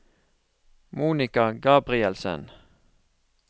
Monica Gabrielsen